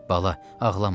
Bala, ağlama.